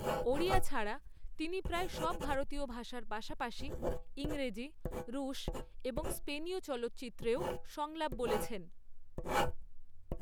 ওড়িয়া ছাড়া তিনি প্রায় সব ভারতীয় ভাষার পাশাপাশি ইংরেজি, রুশ এবং স্পেনীয় চলচ্চিত্রেও সংলাপ বলেছেন।